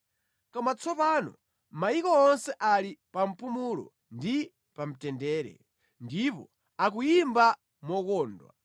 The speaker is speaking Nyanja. Koma tsopano mayiko onse ali pa mpumulo ndi pa mtendere; ndipo akuyimba mokondwa.